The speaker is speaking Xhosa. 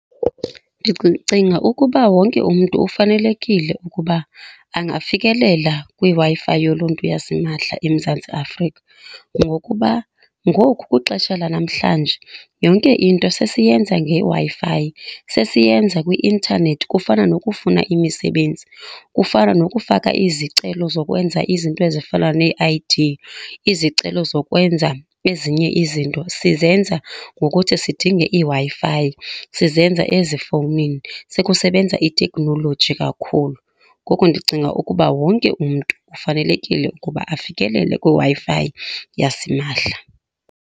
Ndicinga ukuba wonke umntu ufanelekile ukuba angafikelela kwiWi-Fi yoluntu yasimahla eMzantsi Afrika. Ngokuba ngoku kwixesha lanamhlanje yonke into sesiyenza ngeWi-Fi, sesiyenza kwi-intanethi, kufana nokufuna imisebenzi, kufana nokufaka izicelo zokwenza izinto ezifana nee-I_D. Izicelo zokwenza ezinye izinto sizenza ngokuthi sidinge iWi-Fi, sizenza ezifowunini sekusebenza itheknoloji kakhulu. Ngoko ndicinga ukuba wonke umntu kufanelekile ukuba afikelele kwiWi-Fi yasimahla.